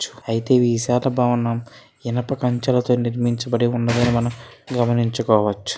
చు ఈ విశాల భవనం ఇనుపకంచెలతో నిర్మించబడి ఉన్నదని మనం గమనించుకోవచ్చు.